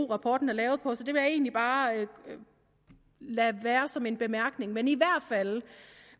rapporten er lavet på så jeg vil egentlig bare lade det være som en bemærkning men jeg